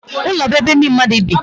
Ụlọ bụ ebe ndị mmadụ bi.